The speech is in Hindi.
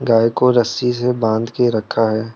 गाय को रस्सी से बांध के रखा है।